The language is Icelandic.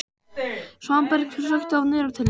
Svanberg, slökktu á niðurteljaranum.